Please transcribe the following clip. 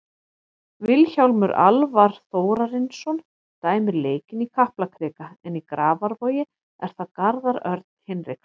Vilhjálmur Alvar Þórarinsson dæmir leikinn í Kaplakrika en í Grafarvogi er það Garðar Örn Hinriksson.